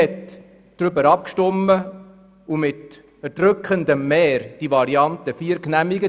Man hat darüber abgestimmt und mit erdrückendem Mehr die Variante 4 genehmigt.